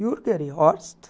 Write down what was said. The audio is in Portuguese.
Jürger e Horst.